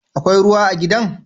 Akwai ruwa a gidan?